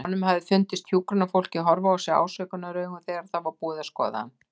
Honum hafði fundist hjúkrunarfólkið horfa á sig ásökunaraugum þegar það var búið að skoða hann.